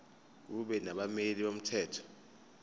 kube nabameli bomthetho